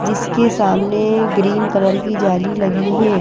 जिसके सामने green colour की जाली लगी हे ।